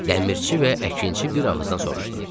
Dəmirçi və əkinçi bir ağızdan soruşdu.